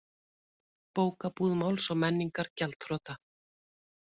Bókabúð Máls og menningar gjaldþrota